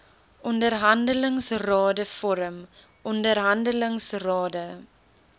onderhandelingsrade vorm onderhandelingsrade